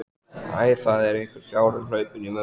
Æ, það er einhver fjárinn hlaupinn í vömbina.